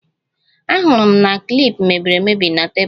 Ahụrụ m klip mebiri emebi na tebụl gị